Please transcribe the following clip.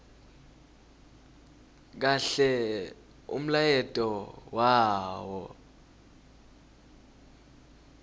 kahle umlayeto wawo